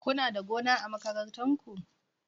Kuna da gona a makarantar ku?